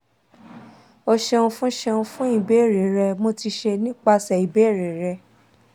o ṣeun fun ṣeun fun ibeere rẹ mo ti ṣe nipasẹ ibeere rẹ